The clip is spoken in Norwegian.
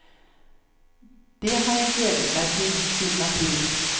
Det har jeg gledet meg til siden april.